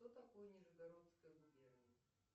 что такое нижегородская губерния